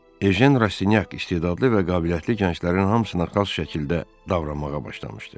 Ejen Rastinyak istedadlı və qabiliyyətli gənclərin hamısına xas şəkildə davranmağa başlamışdı.